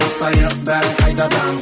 бастайық бәрін қайтадан